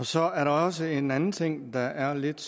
så er der også en anden ting der er lidt